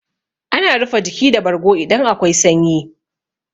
Ana rufe jiki da bargo idan akwai sanyi.